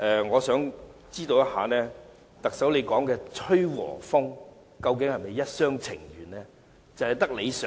我想請問特首所謂的"吹和風"，究竟是否一廂情願，只是你自己想這樣呢？